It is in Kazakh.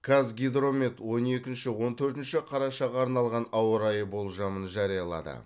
қазгидромет он екінші он төртінші қарашаға арналған ауа райы болжамын жариялады